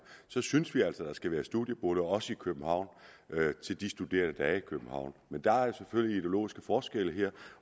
synes vi altså at der skal være studieboliger også i københavn til de studerende der er i københavn men der er selvfølgelig ideologiske forskelle her